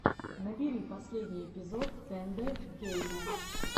набери последний эпизод тэндэ геймэ